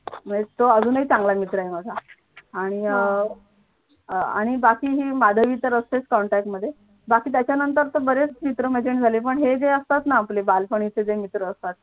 म्हणजे तो अजूनही चांगला मित्र आहे माझा आणि अं आणि अं बाकी ही माधवी तर असतेच contact मध्ये बाकी त्याच्यानंतर बरेच मित्र-मैत्रिणी झाले पण हे जे असतात ना आपले बालपणीचे जे मित्र असतात